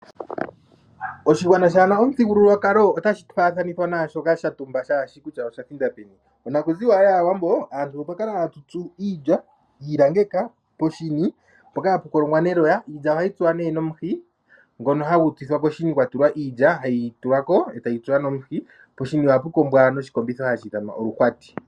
Oshigwana shaa na omuthigululwakalo otashi faathanithwa naa shoka sha tumba shaa shi kutya osha thinda peni. Onakuziwa yAawambo aantu otwa kala hatu tsu iilya, iilangeka poshini mpoka hapu kolongwa neloya. Iilya ohayi tsuwa nee nomuhi ngono hagu tsithwa koshini kwa tulwa iilya hayi tulwa ko e tayi tsuwa nomuhi. Poshini ohapu kombithwa noshikombitho hashi ithanwa oluhwati.